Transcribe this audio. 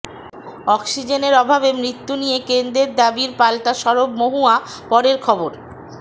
অক্সিজেনের অভাবে মৃত্যু নিয়ে কেন্দ্রের দাবির পালটা সরব মহুয়া পরের খবর